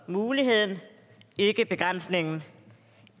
muligheden ikke begrænsningen